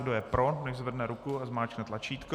Kdo je pro, nechť zvedne ruku a zmáčkne tlačítko.